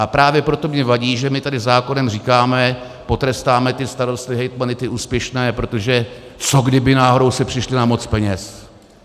A právě proto mi vadí, že my tady zákonem říkáme, potrestáme ty starosty, hejtmany, ty úspěšné - protože co kdyby náhodou si přišli na moc peněz?